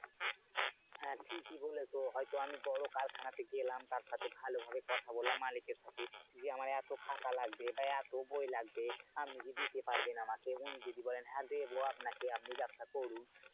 হ্যাঁ কি কি বলতো? হয়তো আমি বড় কারখানা থেকে এলাম তার সাথে ভালো ভাবে কথা বললাম মালিকের সাথে যে আমার এত খাতা লাগবে বা এত বই লাগবে, আপনি কি দিতে পারবেন আমাকে? উনি যদি বলেন হ্যাঁ দেব আপনাকে আপনি ব্যাবসা করুন।